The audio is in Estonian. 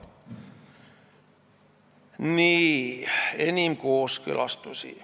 Nii, edasi – enim kooskõlastusi.